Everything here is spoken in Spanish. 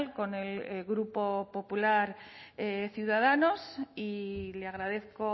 con el grupo popular ciudadanos y le agradezco